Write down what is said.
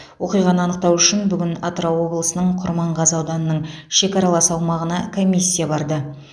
оқиғаны анықтау үшін бүгін атырау облысының құрманғазы ауданының шекаралас аумағына комиссия барды